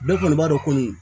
Bɛɛ kɔni b'a dɔn ko nin